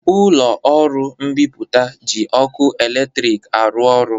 Ụlọ ọrụ mbipụta ji ọkụ eletrik arụ ọrụ